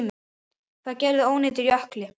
Það gerði ónýtur ökkli.